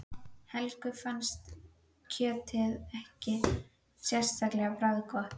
Helga fannst kjötið ekki sérlega bragðgott.